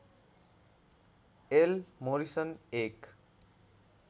L Morrison एक